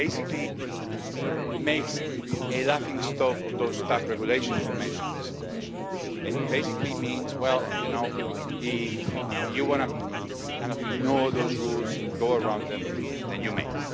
It basically makes a laughing stock of those Staff Regulations you mentioned, Mr Commissioner, and it basically means, well you know, if you want to ignore those rules and go around them, then you may.